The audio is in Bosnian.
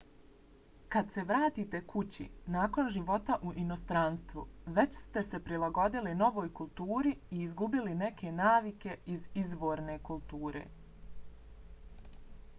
kad se vratite kući nakon života u inostranstvu već ste se prilagodili novoj kulturi i izgubili neke navike iz izvorne kulture